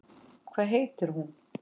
Hvað heitir hún?